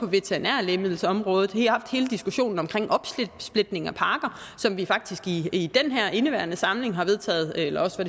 veterinære lægemiddelområde haft hele diskussionen om opsplitning af pakker som vi faktisk i indeværende samling eller også